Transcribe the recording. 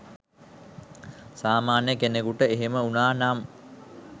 සාමාන්‍ය කෙනෙකුට එහෙම වුණා නම්